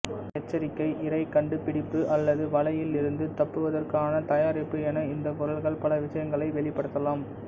எச்சரிக்கை இரை கண்டுபிடிப்பு அல்லது வலையில் இருந்து தப்புவதற்கான தயாரிப்பு என இந்த குரல்கள் பல விஷயங்களை வெளிப்படுத்தலாம்